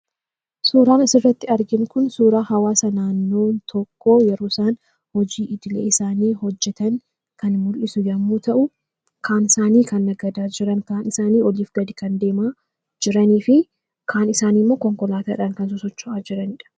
Suuraan asirratti arginu kun suuraa hawwaasa naannoo tokkoo yeroo isaan hojii idilee isaanii hojjetan kan mul'isu yoo ta’u, kaan isaanii nagadaa kan jiran, kaan isaanii oliif gadi kan deemaa jiranii fi kaan isaanii konkolaataa dhaan socho'aa kan jiran argina.